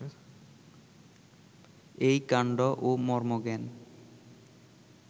এই কাণ্ড ও মর্মজ্ঞান